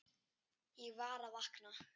Ég var að vakna.